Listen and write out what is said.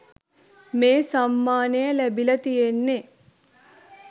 මේ සම්මානය ලැබිලා තියෙන්නෙ